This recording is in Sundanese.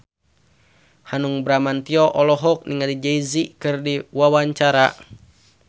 Hanung Bramantyo olohok ningali Jay Z keur diwawancara